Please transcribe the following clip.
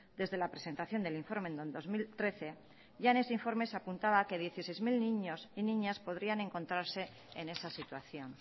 desde la presentación del informe en el dos mil trece ya en ese informe se apuntaba que dieciséis mil niños y niñas podrían encontrarse en esa situación